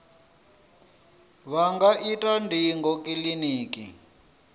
vha nga ita ndingo kiliniki